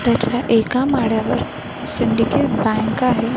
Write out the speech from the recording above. त्याच्या एका माड्यावर सिंडिकेट बँक आहे.